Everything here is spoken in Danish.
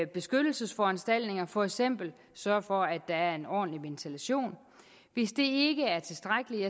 beskyttelsesforanstaltninger for eksempel sørge for at der er en ordentlig ventilation hvis det ikke er tilstrækkeligt